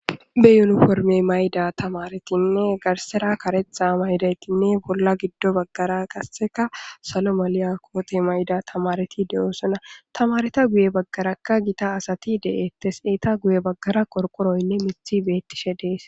Be yunifome mayida tamaretinne garsera karetha ma'idaytinne bola gido bagara qaseka salo maliya kotiya ma'da tamareti de'osona tamareta guye bagaraka gita asati de'etes eta guye bagara qorqoroynne mithi betishe de'es.